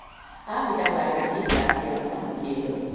Afi kallar mig líka sjaldan Lillu.